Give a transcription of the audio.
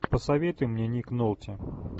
посоветуй мне ник нолти